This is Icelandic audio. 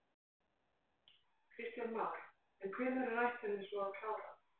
Kristján Már: En hvenær er ætlunin svo að klára?